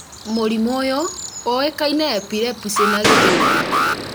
mũrimũ ũyũ ũĩkaine na Epilepsy na gĩthũngũ